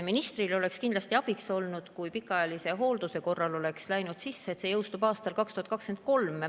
Ministrile oleks kindlasti abiks olnud, kui pikaajalise hoolduse osasse oleks läinud sisse, et see jõustub aastal 2023.